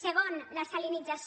segon la salinització